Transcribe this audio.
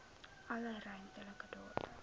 alle ruimtelike data